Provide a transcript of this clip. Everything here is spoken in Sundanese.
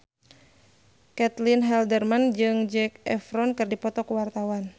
Caitlin Halderman jeung Zac Efron keur dipoto ku wartawan